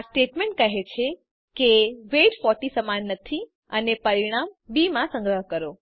આ સ્ટેટમેન્ટ કહે છે કે વેઇટ 40 સમાન નથી અને પરિણામ બી માં સંગ્રહ કરો